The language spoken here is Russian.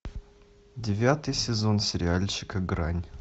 девятый сезон сериальчика грань